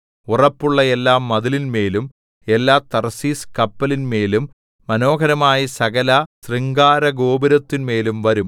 ഉറപ്പുള്ള എല്ലാ മതിലിന്മേലും എല്ലാ തർശീശ് കപ്പലിന്മേലും മനോഹരമായ സകല ശൃംഗാരഗോപുരത്തിന്മേലും വരും